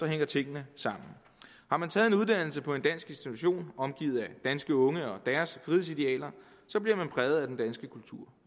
hænger tingene sammen har man taget en uddannelse på en dansk institution omgivet af danske unge og deres frihedsidealer bliver man præget af den danske kultur